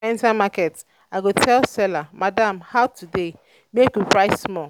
if i enter market i go tell seller "madam how today? make we price small!"